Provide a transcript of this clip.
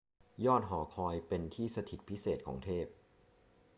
ยอดหอคอยเป็นที่สถิตพิเศษของเทพ